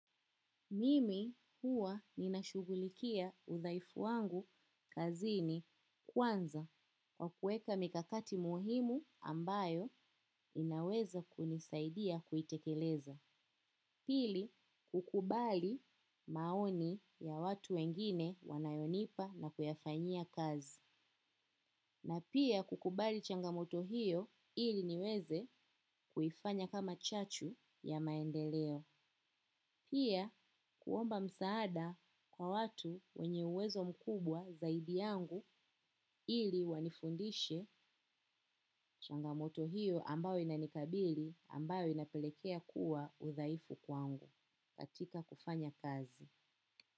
Mimi huwa ninashughulikia udhaifu wangu kazini kwanza wa kuweka mikakati muhimu ambayo inaweza kunisaidia kuitekeleza. Pili, hukubali maoni ya watu wengine wanayonipa na kuyafanyia kazi. Na pia kukubali changamoto hiyo ili niweze kuifanya kama chachu ya maendeleo. Pia kuomba msaada kwa watu wenye uwezo mkubwa zaidi yangu ili wanifundishe changamoto hiyo ambayo inanikabili ambayo inapelekea kuwa udhaifu kwangu katika kufanya kazi.